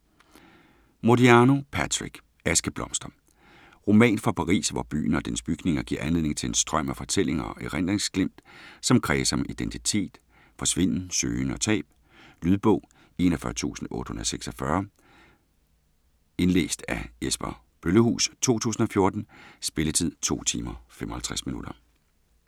Modiano, Patrick: Askeblomster Roman fra Paris, hvor byen og dens bygninger giver anledning til en strøm af fortællinger og erindringsglimt, som kredser om identitet, forsvinden, søgen og tab. Lydbog 41846 Indlæst af Jesper Bøllehuus, 2014. Spilletid: 2 timer, 55 minutter.